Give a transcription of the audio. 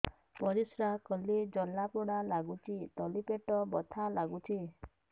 ପରିଶ୍ରା କଲେ ଜଳା ପୋଡା ଲାଗୁଚି ତଳି ପେଟ ବଥା ଲାଗୁଛି